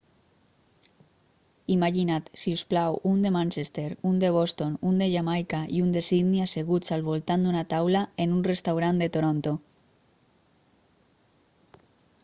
imagina't si us plau un de manchester un de boston un de jamaica i un de sydney asseguts al voltant d'una taula en un restaurant de toronto